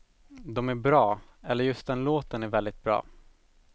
De är bra, eller just den låten är väldigt bra.